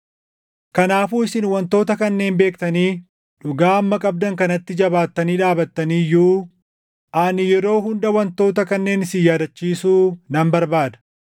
Kanaafuu isin wantoota kanneen beektanii, dhugaa amma qabdan kanatti jabaatanii dhaabattanii iyyuu ani yeroo hunda wantoota kanneen isin yaadachiisuu nan barbaada.